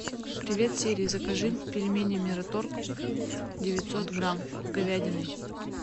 привет сири закажи пельмени мираторг девятьсот грамм с говядиной